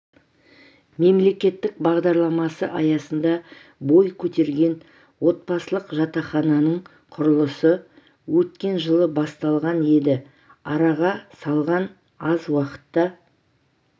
мемлекеттік бағдарламасы аясында бой көтерген отбасылық жатақханың құрылысы өткен жылы басталған еді араға салған аз уақытта